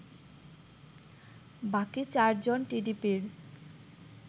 বাকি ৪ জন টিডিপির